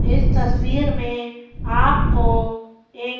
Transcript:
इस तस्वीर में आपको एक--